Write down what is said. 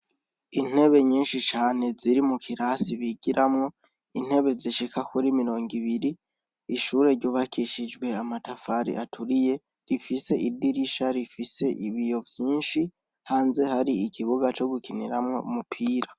Intebe nyinshi cane ziri mu kurasi bigiramwo, intebe zishika kuri mirongo ibiri; ishure ryubakishijwe amatafari aturiye, rifise idirisha rifise ibiyo vyinshi, hanze hari ikibuga co gukiniramwo umupira.